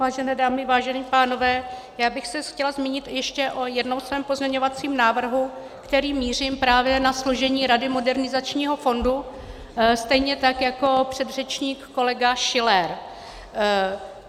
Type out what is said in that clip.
Vážené dámy, vážení pánové, já bych se chtěla zmínit ještě o jednom svém pozměňovacím návrhu, kterým mířím právě na složení rady modernizačního fondu stejně tak, jako předřečník kolega Schiller.